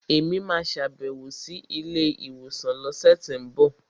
Èmi máa sàbẹ̀wò sí ilé ìwòsàn lọ́sẹ̀tínbọ̀